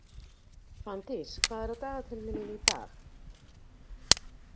Fanndís, hvað er á dagatalinu mín í dag?